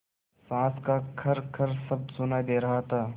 साँस का खरखर शब्द सुनाई दे रहा था